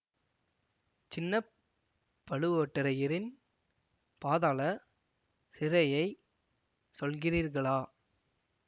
சின்ன பழுவோட்டரையரின் பாதாள சிறையைச் சொல்கிறீர்களா